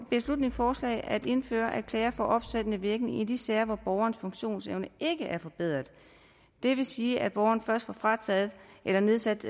beslutningsforslag at indføre at klager får opsættende virkning i de sager hvor borgerens funktionsevne ikke er forbedret det vil sige at borgeren først får frataget eller nedsat